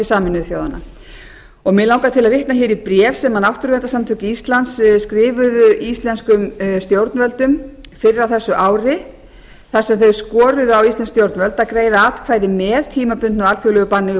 sameinuðu þjóðanna mig langar til að vitna hér í bréf sem náttúrverndarsamtök íslands skrifuðu íslenskum stjórnvöldum fyrr á þessu ári þar sem þau skoruðu á íslensk stjórnvöld að greiða atkvæði með tímabundnu alþjóðlegu banni við